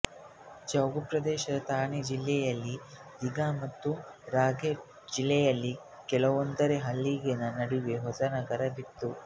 ಜೌಗುಪ್ರದೇಶದ ಥಾನೆ ಜಿಲ್ಲೆಯಲ್ಲಿನ ದಿಘೆ ಮತ್ತು ರಾಯ್ಗಡ್ ಜಿಲ್ಲೆಯಲ್ಲಿನ ಕಲುಂದ್ರೆ ಹಳ್ಳಿಗಳ ನಡುವೆ ಹೊಸ ನಗರ ಇತ್ತು